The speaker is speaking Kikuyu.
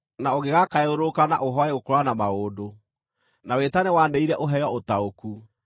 na ũngĩgaakayũrũrũka na ũhooe gũkũũrana maũndũ, na wĩtane wanĩrĩire ũheo ũtaũku,